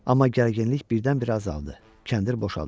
Amma gərginlik birdən-birə azaldı, kəndir boşaldı.